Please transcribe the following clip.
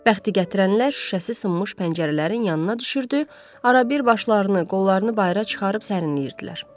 Bəxti gətirənlər şüşəsi sınmış pəncərələrin yanına düşürdü, arabir başlarını, qollarını bayıra çıxarıb sərinlənirdilər.